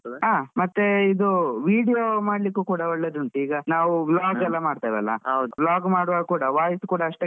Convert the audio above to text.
ಹಾ ಮತ್ತೆ ಇದು video ಮಾಡ್ಲಿಕ್ಕೂ ಕೂಡ ಒಳ್ಳೆದ್ ಉಂಟು ಈಗ ನಾವ್ ಎಲ್ಲ ಮಾಡ್ತಿವಲ್ಲ vlog ಮಾಡುವಾಗ ಕೂಡ ಅಷ್ಟೇ